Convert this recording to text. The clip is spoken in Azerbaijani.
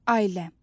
Ailəm.